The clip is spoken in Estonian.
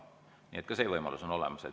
Nii et ka see võimalus on olemas.